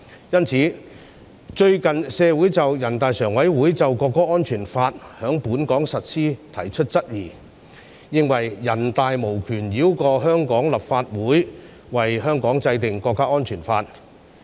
最近，對於人大常委會通過在本港實施的國家安全法，社會上有人提出質疑，認為人大常委會無權繞過香港立法會，為香港制定國家安全法。